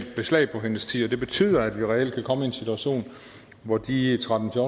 beslag på hendes tid og det betyder at vi reelt kan komme i en situation hvor de tretten til